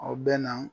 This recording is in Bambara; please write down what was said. Aw bɛ na